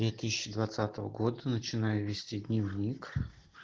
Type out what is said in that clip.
две тысячи двадцатого года начинаю вести дневник